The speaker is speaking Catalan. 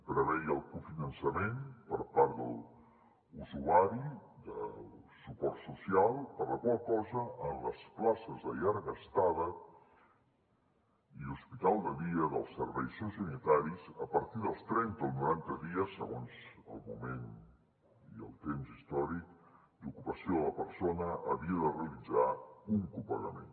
preveia el cofinançament per part de l’usuari del suport social per la qual cosa en les places de llarga estada i hospital de dia dels serveis sociosanitaris a partir dels trenta o noranta dies segons el moment i el temps històric d’ocupació de la persona havia de realitzar un copagament